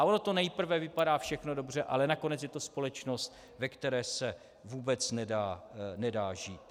A ono to nejprve vypadá všechno dobře, ale nakonec je to společnost, ve které se vůbec nedá žít.